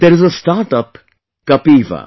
There is a startup Kapiva